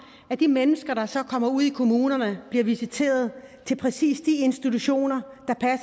at de mennesker der så kommer ud i kommunerne bliver visiteret til præcis de institutioner